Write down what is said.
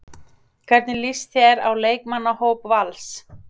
Hvernig líst þér á leikmannahóp Vals?